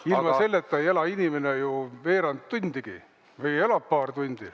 Ilma selleta ei ela inimene veerand tundigi või elab paar tundi.